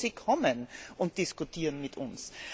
Ich hoffe, sie kommen und diskutieren mit uns.